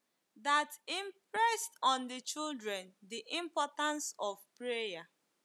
That impressed on the children the importance of prayer.